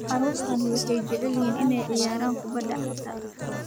Carruurtani waxay jecel yihiin inay ciyaaraan kubbadda cagta